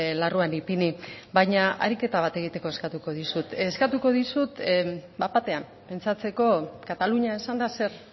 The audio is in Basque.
larruan ipini baina ariketa bat egiteko eskatuko dizut eskatuko dizut bat batean pentsatzeko katalunia esanda zer